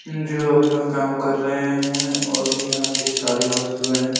जो अपना काम कर रहे हैऔर यहाँ की सारी वस्तुएँ |